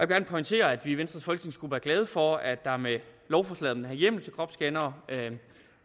gerne pointere at vi i venstres folketingsgruppe er glade for at der med lovforslaget om den her hjemmel til kropsscannere